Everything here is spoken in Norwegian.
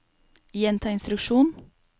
gjenta instruksjon